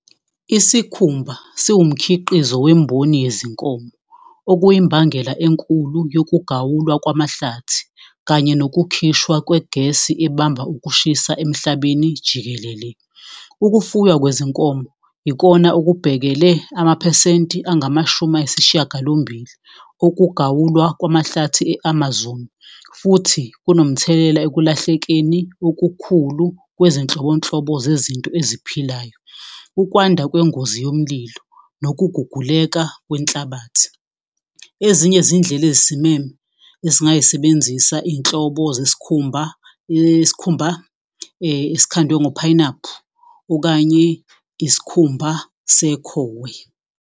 Isikhumba siwumkhiqiniso wemboni yezinkomo, okuyimbangela enkulu yokugawulwa kwamahlathi. Kanye nokukhishwa kwegesi ebamba ukushisa emhlabeni jikelele. Ukufuywa kwezinkomo ikona akubhekele amaphesenti angamashumi ayisishiyagalombili okugawulwa kwamahlathi e-Amazon. Futhi kunomthelela ekulahlekeni okukhulu kwezinhlobonhlobo zezinto eziphilayo. Ukwanda kwengozi yomlilo, nokuguguleka kwenhlabathi. Ezinye zindlela ezisimeme esingayisebenzisa iy'nhlobo zeskhumba iskhumba eskhandiwe ngophayinaphu okanye iskhumba sekhowe.